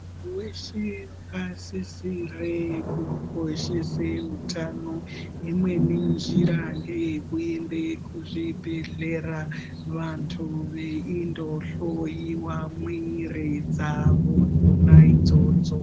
Muntu veshe vakasisire kukoshese hutano. Imweni njira ngeyekuende kuzvibhedhlera vantu veindohloiwa mumwiri dzavo dzonaidzodzo.